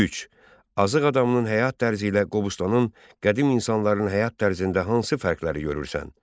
3. Azıq adamının həyat tərzi ilə Qobustanın qədim insanların həyat tərzində hansı fərqləri görürsən?